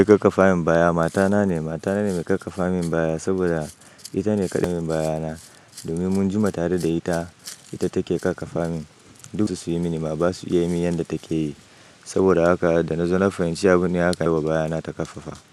Mai kakkafa min baya mata na ne. Mata na ne mai kakkafa min baya saboda ita ne kadan baya na. Domin mun jima tare da ita, ita take kakkafa min. Duk wasu su yi mini ba su iya yi yadda take yi. Saboda haka da na zo na fahimci abin ne haka yayi wa baya na ta kafafa.